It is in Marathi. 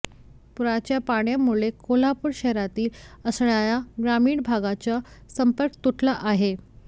पुराच्या पाण्यामुळे कोल्हापूर शहरातील असणाऱ्या ग्रामीण भागाचा संपर्क तुटला आहे